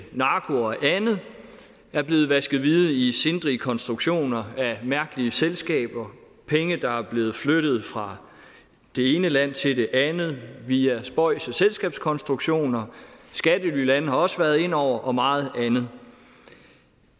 narko og andet der er blevet vasket hvide i sindrige konstruktioner af mærkelige selskaber penge der er blevet flyttet fra det ene land til det andet via spøjse selskabskonstruktioner og skattelylande har også været inde over og meget andet